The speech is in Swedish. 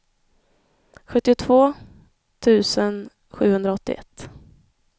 sjuttiotvå tusen sjuhundraåttioett